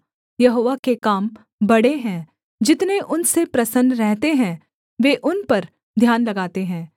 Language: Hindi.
यहोवा के काम बड़े हैं जितने उनसे प्रसन्न रहते हैं वे उन पर ध्यान लगाते हैं